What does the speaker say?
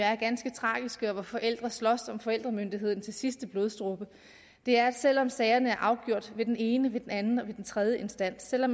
er ganske tragiske med at forældrene slås om forældremyndigheden til sidste blodsdråbe er at selvom sagerne er afgjort ved den ene den anden og den tredje instans og